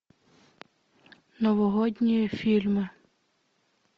новогодние фильмы